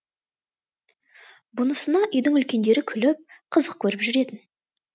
бұнысына үйдің үлкендері күліп қызық көріп жүретін